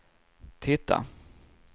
titta